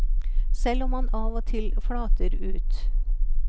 Selv om man av og til flater ut.